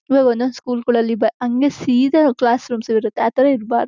ಇವಾಗ ಒಂದ್ ಒಂದು ಸ್ಕೂಲ್ ಗಳಲ್ಲಿ ಅಂಗೇ ಸೀದಾ ಕ್ಲಾಸ್ ರೂಮ್ಸ್ ಇರುತ್ತೆ ಆ ತರ ಇರಬಾರ--